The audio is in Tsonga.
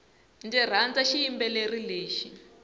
ndzi rhandza xiyimbeleri lexi